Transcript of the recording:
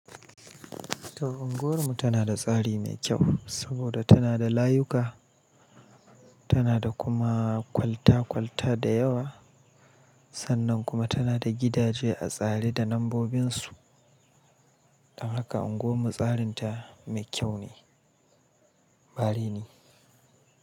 To, unguwar mu tana da tsari mai kyau saboda tana da layuka, tana da kuma kwalta-kwalta da yawa, sannan kuma tana da gidaje a tsare da nambobin su. Don haka unguwar mu tsarinta mai kyau ne, bari ne.